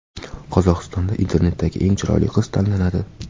Qozog‘istonda internetdagi eng chiroyli qiz tanlanadi .